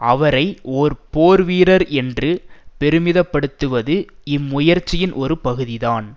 அவரை ஒரு போர் வீரர் என்று பெருமிதப்படுத்துவது இம்முயற்சியின் ஒரு பகுதிதான்